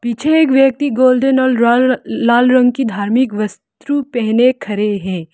छे एक व्यक्ति गोल्डन और ला लाल रंग की धार्मिक वस्त्रु पहन खड़े है।